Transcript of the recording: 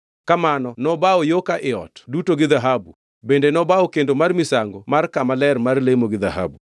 Kamano nobawo yo ka ii ot duto gi dhahabu, bende nobawo kendo mar misango mar kama ler mar lemo gi dhahabu.